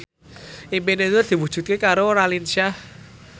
impine Nur diwujudke karo Raline Shah